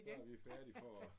Så er vi færdige for